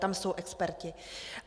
Tam jsou experti.